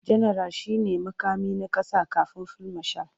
Janaral shi ne muƙami na ƙasa kafin fil mashal.